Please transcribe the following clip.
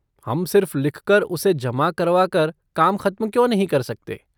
हम सिर्फ़ लिखकर और उसे जमा करवा कर काम खत्म क्यों नहीं कर सकते?